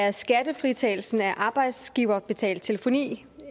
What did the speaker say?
at skattefritagelsen af arbejdsgiverbetalt telefoni